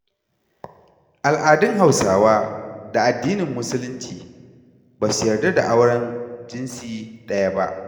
Al'adun Hauswa da addinin musulunci ba su yarda da auren jinsi ɗaya ba.